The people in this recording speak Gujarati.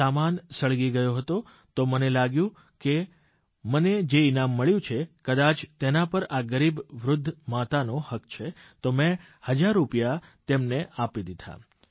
સામાન સળગી ગયો હતો તો મને લાગ્યું કે મને જે ઇનામ મળ્યું છે કદાચ તેના પર આ ગરીબ વૃદ્ધ માતાનો હક છે તો મેં હજાર રૂપિયા તેમને આપી દીધા